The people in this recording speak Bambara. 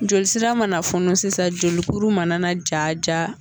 Joli sira mana funu sisan jolikuru mana ja ja